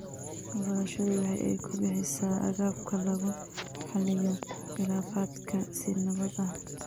Waxbarashadu waxa ay bixisaa agabka lagu xaliyo khilaafaadka si nabad ah.